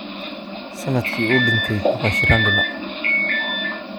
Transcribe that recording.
Sanadkii uu dhintay papa shirandula?